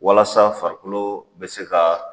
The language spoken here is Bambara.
Walasa farikolo bɛ se ka